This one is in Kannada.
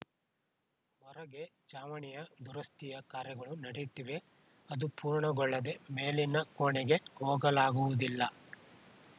ಹೊರಗೆ ಛಾವಣಿಯ ದುರಸ್ತಿಯ ಕಾರ್ಯಗಳು ನಡೆಯುತ್ತಿವೆ ಅದು ಪೂರ್ಣಗೊಳ್ಳದೆ ಮೇಲಿನ ಕೋಣೆಗೆ ಹೋಗಲಾಗುವುದಿಲ್ಲ